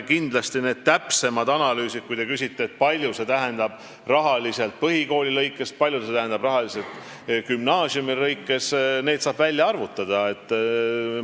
Kindlasti need täpsemad analüüsid, kui te küsite, kui palju see tähendab rahaliselt põhikooli ja gümnaasiumi kohta, saab teha ja summad välja arvutada.